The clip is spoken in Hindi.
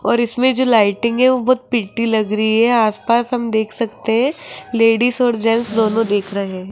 और इसमें जो लाइटिंग है वो बहोत प्रिटी लग रही है आस पास हम देख सकते हैं लेडिस और जेंट्स दोनों दिख रहे --